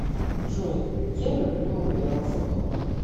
джой я люблю убираться дома